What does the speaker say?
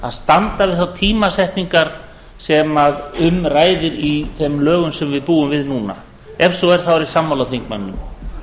að standa við þær tímasetningar sem um ræðir í þeim lögum sem við búum við núna ef svo er er ég sammála þingmanninum